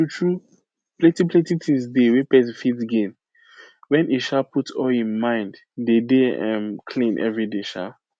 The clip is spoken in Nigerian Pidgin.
tru tru plenti plenti things dey wey pesin fit gain when e um put all him mind dey dey um clean everyday um